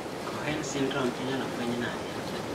Cohen syndrome inyalo fueny nade